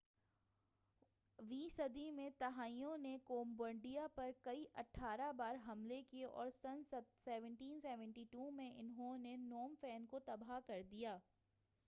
18ویں صدی میں تھائیوں نے کمبوڈیا پر کئی بار حملے کئے اور سن 1772 میں انہوں نے نوم فین کو تباہ کر دیا